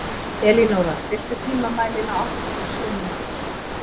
Elínóra, stilltu tímamælinn á áttatíu og sjö mínútur.